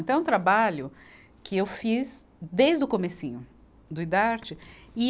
Então, é um trabalho que eu fiz desde o comecinho do Idarte. e